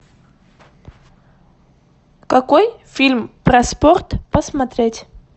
какой фильм про спорт посмотреть